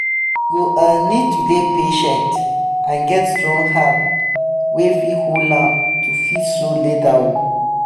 you go um need to dey um patient and get strong hand wey fit hold am to fit sew leather o